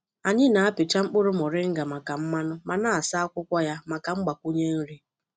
Anyị na-apịcha mkpụrụ moringa maka mmanụ ma na-asa akwụkwọ ya maka mgbakwunye nri.